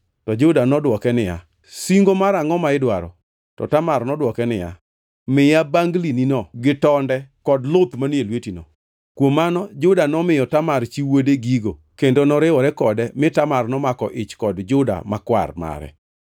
To Juda nodwoke niya, “Singo mar angʼo ma idwaro?” To Tamar nodwoke niya, “Miya banglinino gi tonde kod luth manie lwetino.” Kuom mano Juda nomiyo Tamar chi wuode gigo kendo noriwore kode mi Tamar nomako ich kod Juda kwar mare.